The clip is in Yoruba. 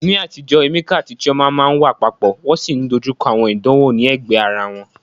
Ní àtijọ́, Emeka àti Chioma máa ń wà papọ̀, wọ́n sì ń dojú kọ àwọn ìdánwò ní ẹ̀gbẹ́ ara wọn